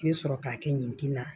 I bɛ sɔrɔ k'a kɛ nin ji la